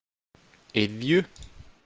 Iðju